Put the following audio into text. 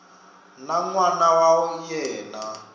na n wana wa yena